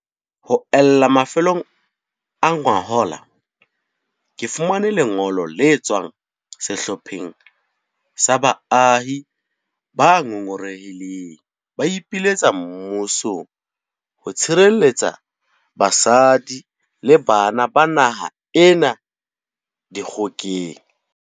Ho ella mafelong a ngwahola, ke fumane le ngolo le tswang sehlopheng sa baahi ba ngongorehileng ba ipiletsa mmusong ho sireletsa basadi le bana ba naha ena dikgokeng.